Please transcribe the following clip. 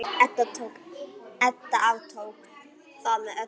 Edda aftók það með öllu.